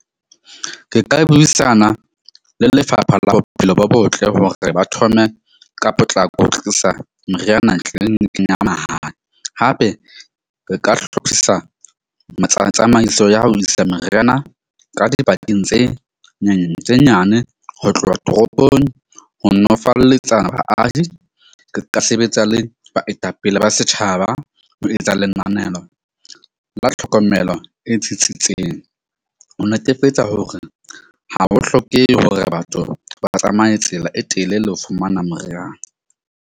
Ke ka buisana le Lefapha la Bophelo bo Botle hore re ba thome ka potlako ho tlisa meriana tliniking ya mahala. Hape re ka hlophisa tsamaiso ya ho isa meriana ka dibakeng tse tse nyane ho tloha toropong. Ho nolofaletsa baahi ke ka sebetsa le baetapele ba setjhaba ho etsa lenanelo la tlhokomelo e tsitsitseng, ho netefetsa hore ha ho hlokehe hore batho ba tsamaye tsela e telele ho fumana moriana.